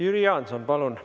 Jüri Jaanson, palun!